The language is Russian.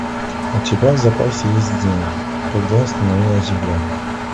у тебя в запасе есть день когда остановилась земля